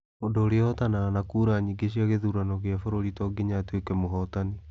mũndũ ũrĩa ũhootanaga na kuura nyingi cia kithurano gia bũrũri tonginya atuike mũhootani.